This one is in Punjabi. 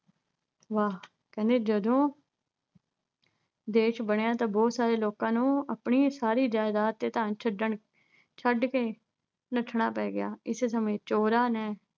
ਵਾਹ। ਕਹਿੰਦੇ ਜਦੋਂ ਦੇਸ਼ ਬਣਿਆ ਤਾਂ ਬਹੁਤ ਸਾਰੇ ਲੋਕਾਂ ਨੂੰ ਆਪਣੀ ਸਾਰੀ ਜਾਇਦਾਦ ਤੇ ਘਰ ਛੱਡਣ, ਛੱਡ ਕੇ ਨੱਠਣਾ ਪੈ ਗਿਆ ਇਸੇ ਸਮੇਂ ਚੋਰਾਂ ਨੇ